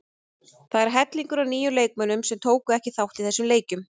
Það er hellingur af nýjum leikmönnum sem tóku ekki þátt í þessum leikjum.